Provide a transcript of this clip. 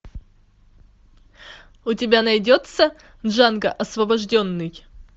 у тебя найдется джанго освобожденный